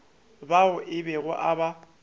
bao a bego a ba